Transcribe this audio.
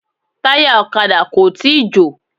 Táyà ọ̀kadà kò tíì jò.